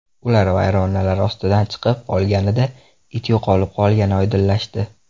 Ular vayronalar ostidan chiqib olganida it yo‘qolib qolgani oydinlashdi.